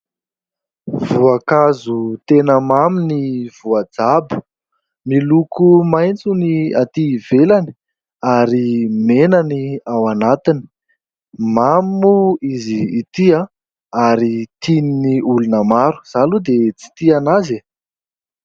Voankazo tena mamy ny voajabo, miloko maitso ny atỳ ivelany ary mena ny ao anatiny, mamy moa izy ity ary tian'ny olona maro. Izaho aloha dia tsy tia anazy e !